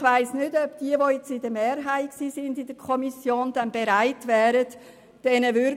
Ich weiss nicht, ob die Kommissionsmehrheit dies in Kauf nehmen will, da damit enorme